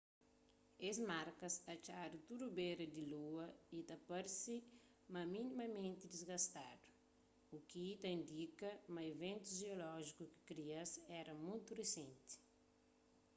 es markas atxadu tudu bera di lua y ta parse sta minimamenti disgastadu u ki ta indika ma iventus jeolójiku ki kria-s éra mutu risenti